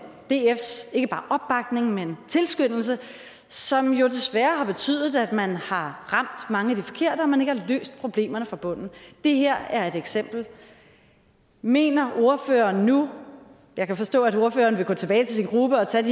dfs ikke bare opbakning men tilskyndelse som jo desværre har betydet at man har ramt mange af de forkerte og at man ikke har løst problemerne fra bunden det her er et eksempel mener ordføreren nu jeg kan forstå at ordføreren vil gå tilbage til sin gruppe og tage